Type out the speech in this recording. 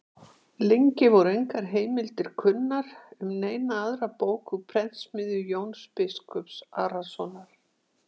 Lengi voru engar heimildir kunnar um neina aðra bók úr prentsmiðju Jóns biskups Arasonar.